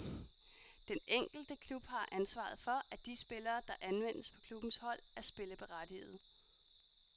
Den enkelte klub har ansvaret for, at de spillere, der anvendes på klubbens hold er spilleberettigede.